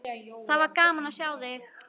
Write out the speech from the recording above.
Það var gaman að sjá þig!